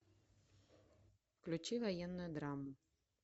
включи военную драму